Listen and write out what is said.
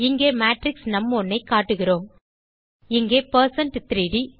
இங்கே மேட்ரிக்ஸ் நும்1 ஐ காட்டுகிறோம் இங்கே பெர்சென்ட் 3ட்